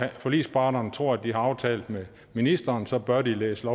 forligsparterne tror de har aftalt med ministeren så bør de læse